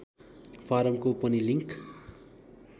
फारमको पनि लिङ्क